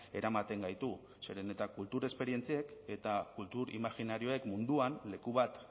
eramaten gaitu zeren eta kultur esperientziek eta kultur imajinarioek munduan leku bat